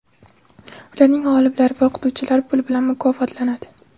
Ularning g‘oliblari va o‘qituvchilari pul bilan mukofotlanadi.